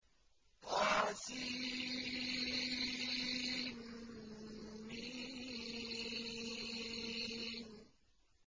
طسم